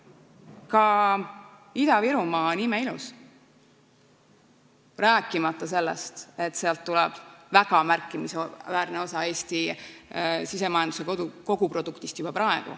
Ka Ida-Virumaa on imeilus, rääkimata sellest, et sealt tuleb juba praegu väga märkimisväärne osa Eesti SKT-st.